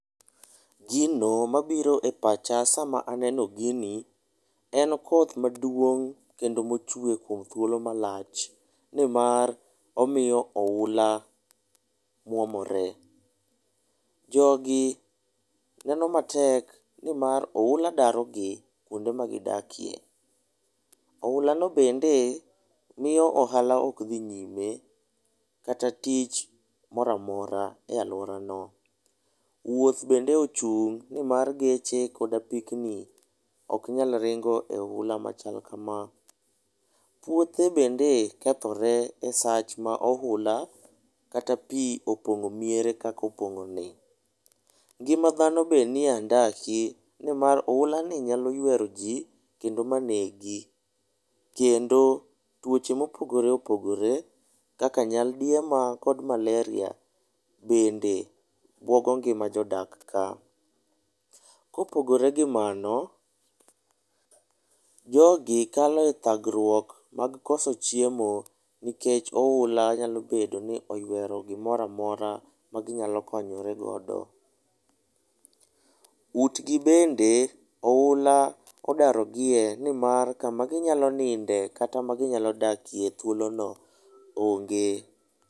Gino mabiro e pacha sama aneno gini en koth maduong' kendo mochwe kuom thuolo malach, nimar omiyo ohula mwomore. Jogi neno matek nimar oula darogi kwonde magidakie. Ohulano bende miyo ohala ok dhi nyime kata tich mora mora e alworano. Wuoth bende ochung' nimar geche kod apikni ok nyal ringo e ohula machal kama. Puothe bende kethore e sa ma ohula kata pi opong'o miere kaka opong'oni. Ngima dhano bende nie andaki nimar ohulani nyalo ywero ji, kendo manegi, kendo tuoche mopogore opogore kaka nyaldiema kod maleria bende buogo ngima jodak ka. kopogore gi mano, jogi kalo e thagruok mag koso chiemo nikech ohula nyalo bedo ni oywero gimora mora maginyalo konyorego. Utgi bende ohula odaro gie, nimar kaka ginyalo nindoe kata ma ginyalo dakie ,thuolono onge.